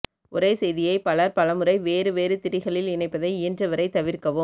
ஒரே செய்தியை பலர் பல முறை வேறு வேறு திரிகளில் இணைப்பதை இயன்றவரை தவிர்க்கவும்